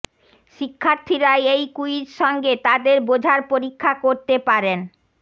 শিক্ষার্থীরা এই ক্যুইজ সঙ্গে তাদের বোঝার পরীক্ষা করতে পারেন